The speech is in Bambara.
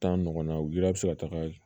Taa ɲɔgɔn na u ye se ka taga